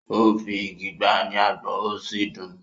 ó fi igi gbá a ní agbọ̀n ó sì dùn ún.